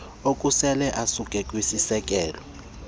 okusela asuka kwisiseko